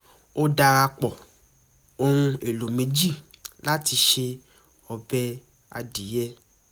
ó darapọ̀ ohùn èlò méjì lati ṣe ọbẹ̀ adìyẹ